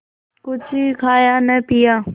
कुछ खाया न पिया